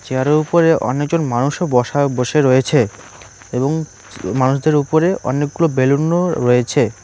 Chair -এর উপরে অনেকজন মানুষও বসা বসে রয়েছে এবং উম মানুষদের উপরে অনেকগুলো বেলুন -ও রয়েছে।